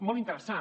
molt interessant